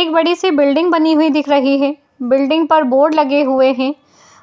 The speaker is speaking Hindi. एक बड़ी सी बिल्डिंग बनी हुई दिख रही है। बिल्डिंग पर बोर्ड लगे हुए हैं।